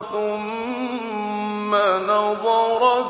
ثُمَّ نَظَرَ